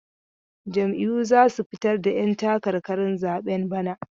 Jam'iyyu za su fitar da 'yantakarkarin zaben bana.